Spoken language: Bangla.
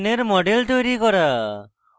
বেঞ্জিনের মডেল তৈরী করা